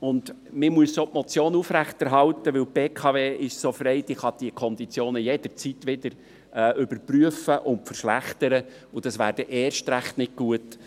Wir müssen auch die Motionen aufrechterhalten, denn die BKW ist so frei, dass sie diese Konditionen jederzeit wieder überprüfen und verschlechtern kann, und das wäre dann erst recht nicht gut.